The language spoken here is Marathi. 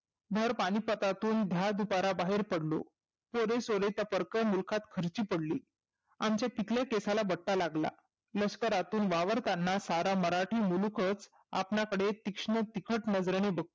भर पानिपतातून धार दुपारा बाहेर पडलो. पोरे सोरे त्या मुलखात खर्ची पडली. आमच्या पिकल्या केसाला बट्टा लागला. लष्करातून वावरताना सारा मराठा मुलूखचं आपल्याकडे तीक्ष्ण तिखट नजरेने बघतो